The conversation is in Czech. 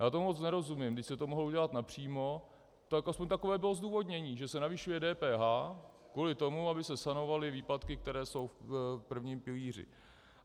Já tomu moc nerozumím, když se to mohlo udělat napřímo, tak aspoň takové bylo zdůvodnění, že se navyšuje DPH kvůli tomu, aby se sanovaly výpadky, které jsou v prvním pilíři.